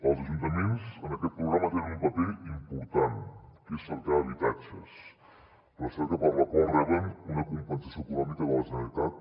els ajuntaments en aquest programa tenen un paper important que és cercar habitatges recerca per la qual reben una compensació econòmica de la generalitat